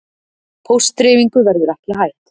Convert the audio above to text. Póstdreifingu verður ekki hætt